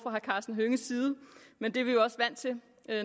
men det er vi jo også vant til